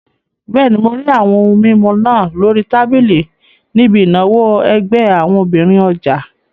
Bẹ́ẹ̀ni, mo rí àwọn ohun mímu náà lórí tábìlì níbi ìnáwó ẹgbẹ́ àwọn obìnrin ọjà